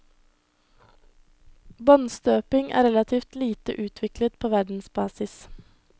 Båndstøping er relativt lite utviklet på verdensbasis.